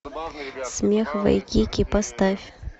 смех вайкики поставь